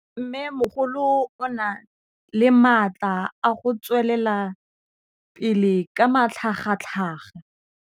Mmêmogolo o na le matla a go tswelela pele ka matlhagatlhaga.